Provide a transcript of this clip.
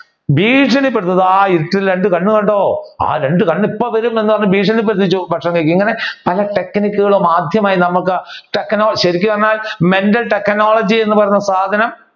ഭീക്ഷണി പെടുത്തും ധാ ഇരിക്കുന്ന രണ്ട് കണ്ണ് കണ്ടോ ആ രണ്ടു കണ്ണും ഇപ്പൊ വരും എന്ന് പറഞ്ഞു ഭീക്ഷണി പെടുപ്പിച്ചു അപ്പൊ ഭക്ഷണം കഴിക്കും ഇങ്ങനെ പല technique കളും ആദ്യമായി നമ്മുക്ക് ശരിക്കും പറഞ്ഞ mental technology എന്ന് പറഞ്ഞ സാധനം